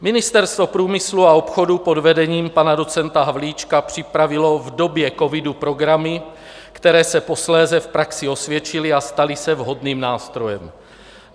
Ministerstvo průmyslu a obchodu pod vedením pana docenta Havlíčka připravilo v době covidu programy, které se posléze v praxi osvědčily a staly se vhodným nástrojem.